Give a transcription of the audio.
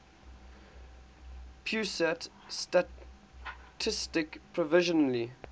pusat statistik provisionally